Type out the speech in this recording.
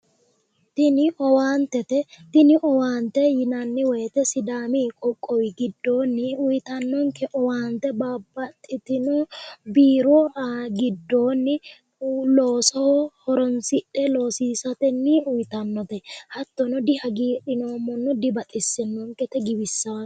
Tini owaantete yinnanni woyte sidaami qoqqowi giddooni owaante babbaxitino biiro giddooni looso horonsidhe loosiisateni uyittanote, hattono dihagiidhinoommono, dibaxisanono, giwisano.